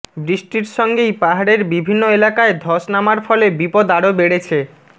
বৃষ্টির সঙ্গেই পাহাড়ের বিভিন্ন এলাকায় ধস নামার ফলে বিপদ আরও বেড়েছে